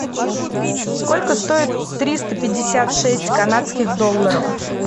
сколько стоит триста пятьдесят шесть канадских долларов